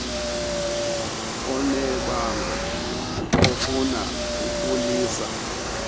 onebango afuna ukulisa